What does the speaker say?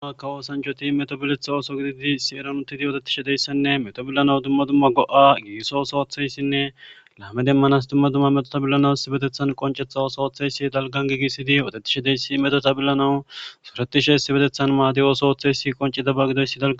Duma duma kawo sanjoti metobiletha ooso gididi si eranutidi odetishe deyssanne metobillanaw dumma dumma go7a gigiso sootheyssinne laame demmanas dumma dumma metotabillanawu issibetethan qoncetha osootheysi dalgan gigisidi oodatishe deyssi meto tabillanawu suretishe si betethan maadi ooso ooththey si qoncidaba gidoyssi da